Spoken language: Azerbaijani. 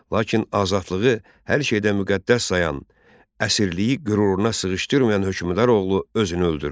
Lakin azadlığı hər şeydən müqəddəs sayan, əsirliyi qüruruna sığışdırmayan hökmdar oğlu özünü öldürdü.